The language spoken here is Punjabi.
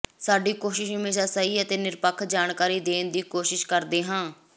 ਸਾਡੀ ਕੋਸ਼ਿਸ ਹਮੇਸ਼ਾਂ ਸਹੀ ਤੇ ਨਿਰਪੱਖ ਜਾਣਕਾਰੀ ਦੇਣ ਦੀ ਕੋਸ਼ਿਸ ਕਰਦੇ ਹਾਂ